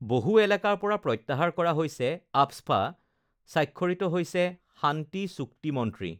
বহু এলেকাৰ পৰা প্ৰত্যাহাৰ কৰা হৈছে আফস্পা, স্বাক্ষৰিত হৈছে শান্তি চুক্তি মন্ত্ৰী